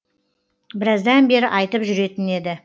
біраздан бері айтып жүретін еді